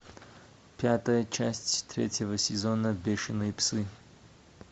пятая часть третьего сезона бешеные псы